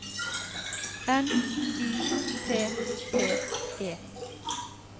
N Y T T E